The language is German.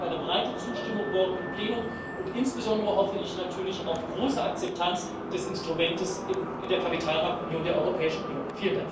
Ich hoffe auf eine breite Zustimmung morgen im Plenum, und insbesondere hoffe ich natürlich auf große Akzeptanz des Instruments in der Kapitalmarktunion der Europäischen Union.